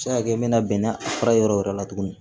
Se ka kɛ n bɛna bɛnɛ fura yɔrɔ o yɔrɔ la tugun